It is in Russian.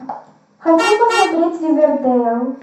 хочу посмотреть ривердейл